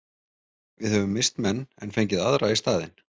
Við höfum misst menn en fengið aðra í staðinn.